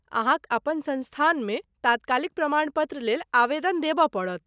अहाँक अपन संस्थानमे तात्कालिक प्रमाण पत्र लेल आवेदन देबऽ पड़त।